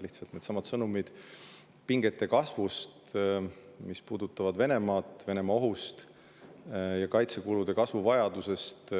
Needsamad sõnumid pingete kasvust, mis puudutavad Venemaad, Venemaa ohust ja kaitsekulude kasvu vajadusest –